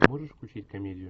можешь включить комедию